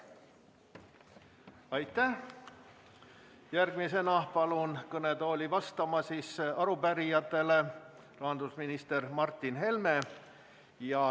Järgmisena palun kõnetooli vastama arupärijatele rahandusminister Martin Helme.